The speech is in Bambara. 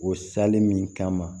O sali min kama